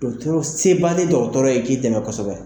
Dɔgɔtɔrɔ se b'ale dɔgɔtɔrɔ ye k'i dɛmɛ kosɛbɛ.